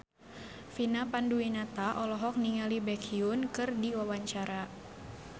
Vina Panduwinata olohok ningali Baekhyun keur diwawancara